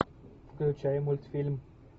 включай мультфильм